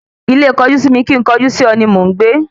Ilé kojú-sí-mi kín ń kojú-sí-ọ ni mò ń gbé